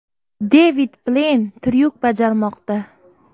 Devid Bleyn tryuk bajarmoqda.